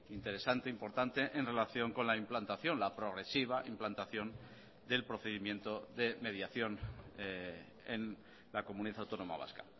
interesante importante en relación con la implantación la progresiva implantación del procedimiento de mediación en la comunidad autónoma vasca